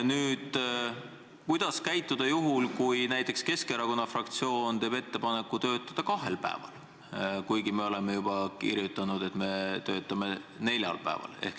Nüüd, kuidas käituda juhul, kui näiteks Keskerakonna fraktsioon teeb ettepaneku töötada kahel päeval, kuigi me oleme juba kirjutanud, et me töötame neljal päeval?